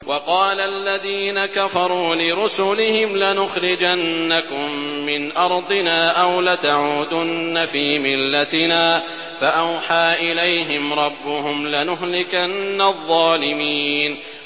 وَقَالَ الَّذِينَ كَفَرُوا لِرُسُلِهِمْ لَنُخْرِجَنَّكُم مِّنْ أَرْضِنَا أَوْ لَتَعُودُنَّ فِي مِلَّتِنَا ۖ فَأَوْحَىٰ إِلَيْهِمْ رَبُّهُمْ لَنُهْلِكَنَّ الظَّالِمِينَ